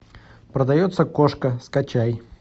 продается кошка скачай